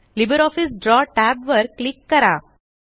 LibreOffice Draw tab वर click करा